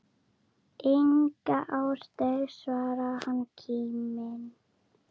Enga ástæðu svarar hann kíminn.